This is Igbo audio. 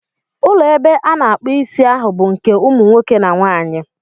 Ụlọ ebe a na-akpu Ịsị ahụ bụ nke umu nwoke na nwanyị.